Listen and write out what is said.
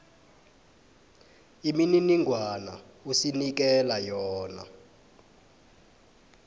imininingwana osinikela yona